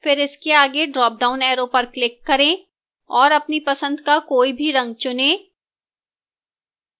फिर इसके आगे ड्रापडाउन arrow पर click करें और अपनी पसंद का कोई भी रंग चुनें